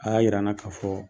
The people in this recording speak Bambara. A y'a yira n na ka fɔ